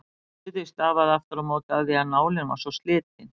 Suðið stafaði aftur á móti af því að nálin var svo slitin.